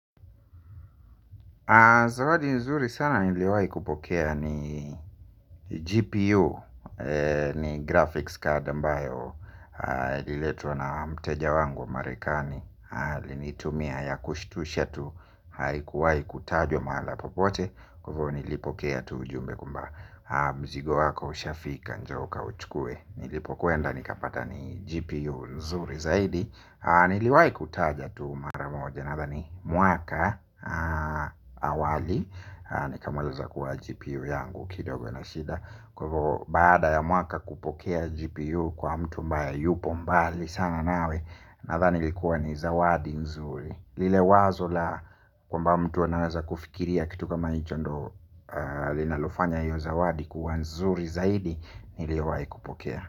Zawadi nzuri sana niliwai kupokea ni GPU, ni graphics card ambayo ililetwa na mteja wangu wa marekani. Linitumia ya kushitusha tu haikuwai kutajwa mahala popote. Kwa hivo nilipokea tu ujumbe kwamba mzigo wako ushafika njoo uka uchukue. Nilipokwenda nikapata ni GPU nzuri zaidi. Niliwai kutaja tu maramo janatha ni mwaka awali. Ni kamaliza kuwa GPU yangu. Kidogo inashida. Kwa ivo baada ya mwaka kupokea GPU Kwa mtu ambaye yupo mbali sana nawe na thani likuwa ni zawadi nzuri. Lile wazo la kwa mba mtu anaweza kufikiria kitu kama hichondo linalofanya hiyo zawadi kuwa nzuri zaidi. Niliyowai kupokea.